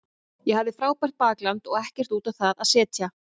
Ég hafði frábært bakland og ekkert út á það að setja.